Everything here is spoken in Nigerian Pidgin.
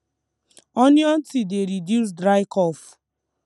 onion tea dey reduce dry cough